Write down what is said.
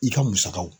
I ka musakaw